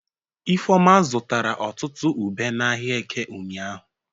Ifeoma zụtara ọtụtụ ube n'ahịa Eke ụnyahụ.